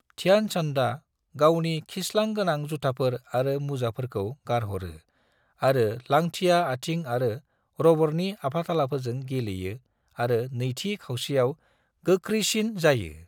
ध्यान चन्दआ गावनि खिसलां गोनां जुथाफोर आरो मुजाफोरखौ गारह'रो आरो लांथिया आथिं आरो रबरनि आफाथालाफोरजों गेलेयो आरो नैथि खावसेयाव गोख्रैसिन जायो।